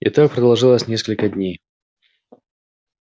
и так продолжалось несколько дней